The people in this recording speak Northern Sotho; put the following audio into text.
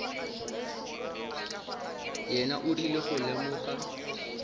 yena o rile go lemoga